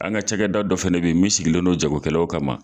An ka cakɛda dɔ fɛnɛ bɛ ye min sigilen no jago kɛlaw kama.